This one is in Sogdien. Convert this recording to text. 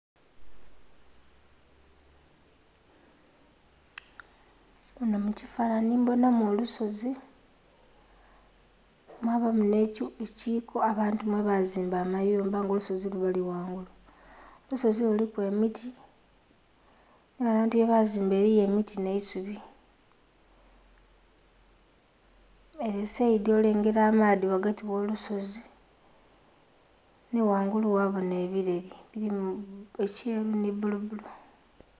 Muno mu kifanhanhi mbonhamu olusozi, mwabamu nhe kiiko abantu mwe bazimba amayumba nga olusozi lwo luli ghangulu. Olusozi luliku emiti nha bantu ye bazimba eliyo emiti nh'eisubi . Ele esaidi olengela amaadhi ghagati gho lusozi nhi ghangulu ghabonha ebileli bilimu ekyeru nhi bbulu bbulu.